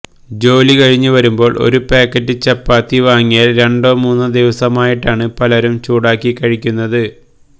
ജോലി കഴിഞ്ഞു വരുമ്പോള് ഒരു പാക്കറ്റ് ചപ്പാത്തി വാങ്ങിയാല് രണ്ടോ മൂന്നോ ദിവസമായിട്ടാണ് പലരും ചൂടാക്കി കഴിക്കുന്നത്